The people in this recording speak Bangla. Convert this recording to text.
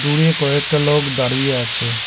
দূরে কয়েকটা লোক দাঁড়িয়ে আছে।